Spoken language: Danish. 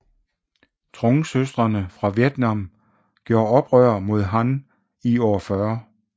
Trungsøstrene fra Vietnam gjorde oprør mod Han år 40